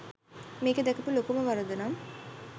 මේකේ දැකපු ලොකුම වරදනම්